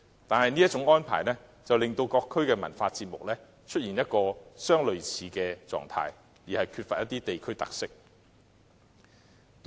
但是，這種安排卻令各區的文化節目相似，乏缺地區特色。